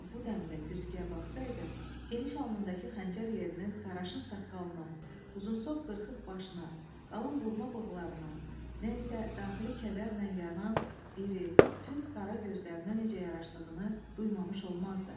Əgər bu dəmdə güzgüyə baxsaydı, geniş alnındakı xəncər yerinin, qaraşın saqqalına, uzunsov qırxıq başına, qalın burma bığlarına, nə isə daxili kədərlə yanan iri, tünd qara gözlərinə necə yaraşdığını duymamış olmazdı.